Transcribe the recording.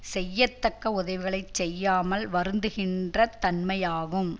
செய்யத்தக்க உதவிகளை செய்யாமல் வருந்துகின்ற தன்மையாகும்